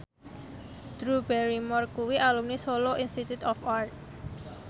Drew Barrymore kuwi alumni Solo Institute of Art